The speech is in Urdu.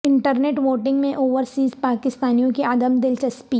انٹر نیٹ ووٹنگ میں اوورسیز پاکستانیوں کی عدم دلچسپی